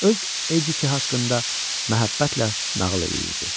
Öz Edithi haqqında məhəbbətlə nağıl eləyirdi.